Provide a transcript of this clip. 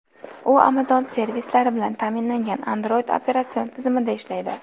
U Amazon servislari bilan ta’minlangan Android operatsion tizimida ishlaydi.